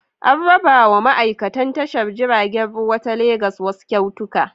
An rabawa ma'aikan tashar jiragen ruwa ta Legas wasu kyautuka.